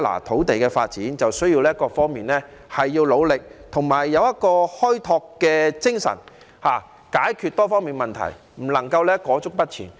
土地的發展需要各方面的努力，而且要有開拓精神，解決多方面的問題，不能裹足不前。